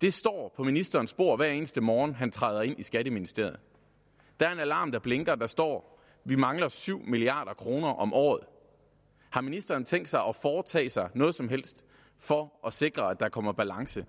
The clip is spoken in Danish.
det står på ministerens bord hver eneste morgen han træder ind i skatteministeriet der er en alarm der blinker og der står vi mangler syv milliard kroner om året har ministeren tænkt sig at foretage sig noget som helst for at sikre at der kommer balance